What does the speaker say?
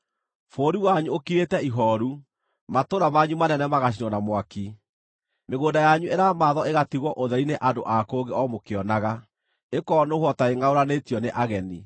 Bũrũri wanyu ũkirĩte ihooru, matũũra manyu manene magacinwo na mwaki; mĩgũnda yanyu ĩramathwo ĩgatigwo ũtheri nĩ andũ a kũngĩ o mũkĩonaga, ĩkoonũhwo ta ĩngʼaũranĩtio nĩ ageni.